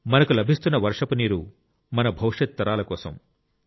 మనకు లభిస్తున్న వర్షపు నీరు మన భవిష్యత్ తరాల కోసం